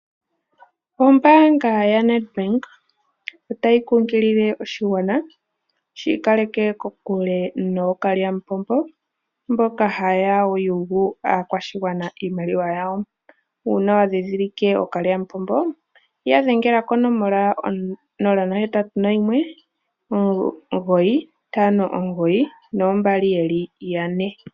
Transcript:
Ombaanga yaNedbank otayi kunkilile oshigwana shi ikaleke kokule nookalyamupombo mboka ha ya yugu aakwashigwana iimaliwa yawo. Uuna wa ndhindhilike ookalyamupombo ya dhengela konomola 0819592222.